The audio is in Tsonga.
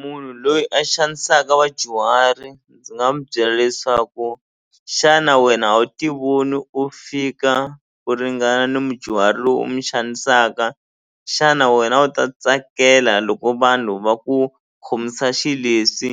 Munhu loyi a xanisaka vadyuhari ndzi nga mu byela leswaku xana wena a wu ti voni u fika u ringana na mudyuhari loyi u mi xanisaka xana wena u ta tsakela loko vanhu va ku khomisa xileswi